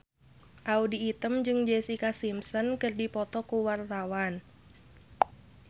Audy Item jeung Jessica Simpson keur dipoto ku wartawan